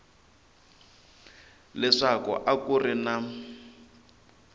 leswaku a ku ri na